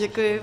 Děkuji.